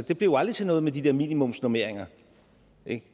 det blev aldrig til noget med de her minimumsnormeringer